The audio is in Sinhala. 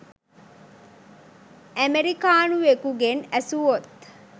අමෙරිකානුවෙකුගෙන් ඇසුවොත්